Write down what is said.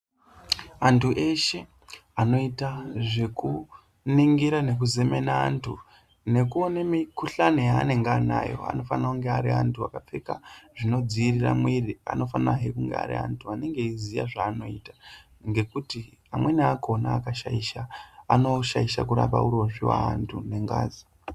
Antu eshe anoita zvekuningira nekuzemena antu nekuona mikuhlani yanongano anayo anofanira kunge Ari antu akapfeka zvinodzivirira mwiri anofana he Ari anti anoziya zvavanoita ngekuti amweni akona amweni akakashaisha anoshaisha kurapa urozvi wevantu ngengazi.